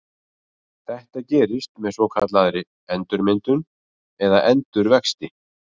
Þetta gerist með svokallaðri endurmyndun eða endurvexti.